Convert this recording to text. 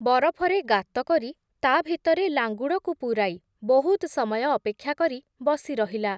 ବରଫରେ ଗାତକରି, ତା’ଭିତରେ ଲାଙ୍ଗୁଡ଼କୁ ପୁରାଇ, ବହୁତ୍ ସମୟ ଅପେକ୍ଷା କରି ବସିରହିଲା ।